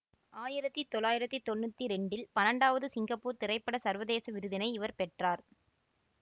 ஆயிரத்தி தொள்ளாயிரத்தி தொன்னூத்தி இரண்டில் பன்னெண்டாவது சிங்கப்பூர் திரைப்பட சர்வதேச விருதினை இவர் பெற்றார்